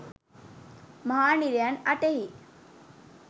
මහා නිරයන් 08 හි